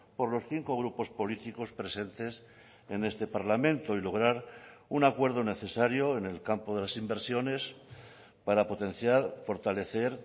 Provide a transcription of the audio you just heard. por los cinco grupos políticos presentes en este parlamento y lograr un acuerdo necesario en el campo de las inversiones para potenciar fortalecer